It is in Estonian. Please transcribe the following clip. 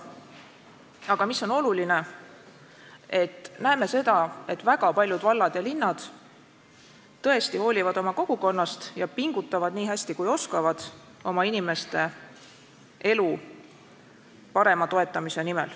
Aga mis on oluline: me näeme seda, et väga paljud vallad ja linnad tõesti hoolivad oma kogukonnast ja pingutavad nii hästi, kui oskavad oma inimeste elu parema toetamise nimel.